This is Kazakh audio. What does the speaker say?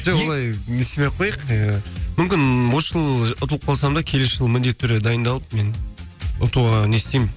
жоқ олай не істемей ақ қояйық ы мүмкін осы жылы ұтылып қалсам да келесі жылы міндетті түрде дайындалып мен ұтуға не істеймін